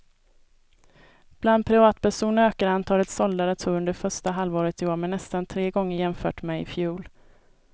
Bland privatpersoner ökade antalet sålda datorer under första halvåret i år med nästan tre gånger jämfört med i fjol.